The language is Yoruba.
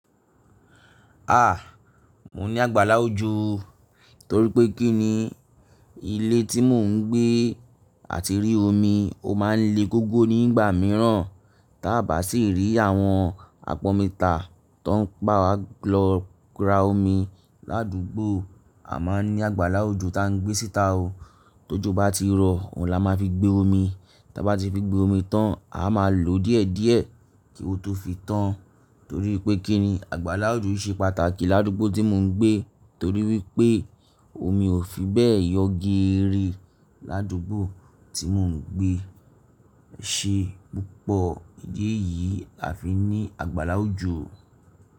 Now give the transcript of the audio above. Ah! Mo ní àgbàlá ojú torí pé kí ni ilé tí mò ń gbé àti rí omi ó máa ń le gógó nígbà mìíràn. Tábà sì rí àwọn àpọnmità tó ń báwa lọ ra omi ládùúgbò, a máa ní àgbàlá ojò ta ń gbé síta o. Tójú bá ti rọ, òun la máa fi gbé omi. Tábà ti fi gbé omi tán, a máa lo díẹ̀díẹ̀ kí ó tó fi tán, torí pé kí ni àgbàlá ojú ṣe pàtàkì ládùúgbò tí mò ń gbé torí wípé omi ò fi bẹ́ẹ̀ yọ géèrè ládùúgbò tí mò ń gbé. Ẹ ṣé púpọ̀ ìdí èyí a fi ní àgbàlá ojò.